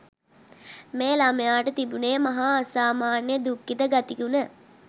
මේ ළමයාට තිබුණේ් මහා අසාමාන්‍ය දුක්ඛිත ගතිගුණ.